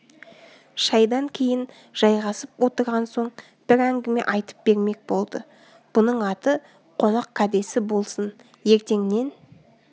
шайдан кейін жайғасып отырған соң бір әңгіме айтып бермек болды бұның аты қонақ кәдесі болсын ертеңнен